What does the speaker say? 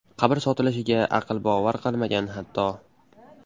Qabr sotilishiga aql bovar qilmagan, hatto.